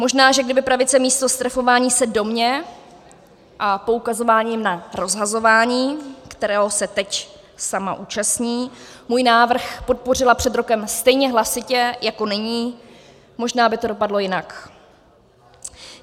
Možná, že kdyby pravice místo strefování se do mě a poukazování na rozhazování, kterého se teď sama účastní, můj návrh podpořila před rokem stejně hlasitě jako nyní, možná by to dopadlo jinak.